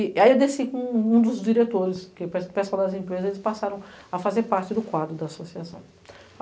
Aí eu desci com um dos diretores, porque o pessoal das empresas passaram a fazer parte do quadro da associação.